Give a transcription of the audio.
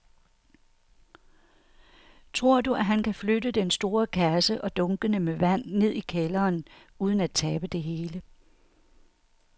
Tror du, at han kan flytte den store kasse og dunkene med vand ned i kælderen uden at tabe det hele?